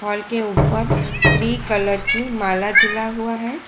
घर के ऊपर थ्री कलर की माला झूला हुआ है।